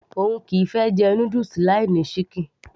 òun kìí fẹ́ jẹ noodles láì sí ṣíkìn